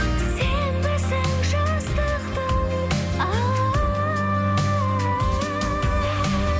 сенбісің жастықтың алауы